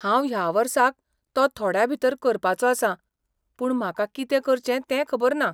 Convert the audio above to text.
हांव ह्या वर्साक तो थोड्याभितर करपाचो आसां, पूण म्हाका कितें करचें तें खबर ना.